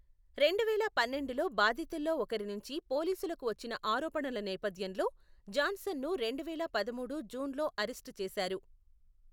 రెండువేల పన్నెండులో బాధితుల్లో ఒకరి నుంచి పోలీసులకు వచ్చిన ఆరోపణల నేపథ్యంలో జాన్సన్ను రెండువేల పదమూడు జూన్లో అరెస్ట్ చేసారు.